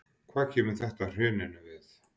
Hvað kemur þetta hruninu við?